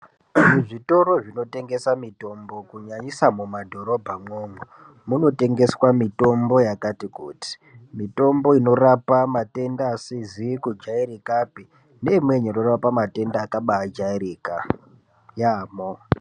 Muzvitoro zvinotengesa mitombo kunyanyisa mumadhorobha mwomwo munotengeswa mitombo yakati kuti. Mitombo inorapa matenda asizi kujairikapi neimweni inorapa matenda akabajairika yaamho.